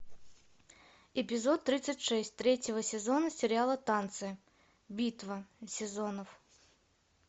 эпизод тридцать шесть третьего сезона сериала танцы битва сезонов